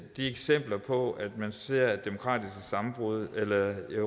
eksempler på at man ser demokratiske sammenbrud